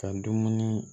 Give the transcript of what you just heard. Ka dumuni